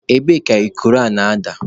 Ebee ka ikoro a na-ada?